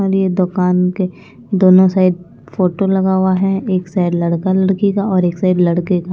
और ये दुकान के दोनों साइड फोटो लगा हुआ है एक साइड लड़का लड़की का और एक साइड लड़के का --